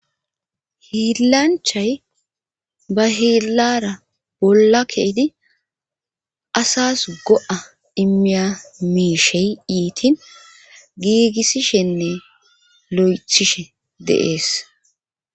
hiillanchay ba hiillara bolla ke'idi asas go'a imiya miishey iitin giigissishenne lo'ethishe de'ees